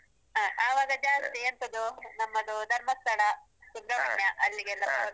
ಹ. ಆವಾಗ ಜಾಸ್ತಿ ಎಂತದು, ನಮ್ಮದು ಧರ್ಮಸ್ಥಳ, ಸುಬ್ರಮಣ್ಯ ಅಲ್ಲಿಗೆಲ್ಲ ಪ್ರವಾಸಕ್ಕೆ ಹೋಗುದು ನಾವು.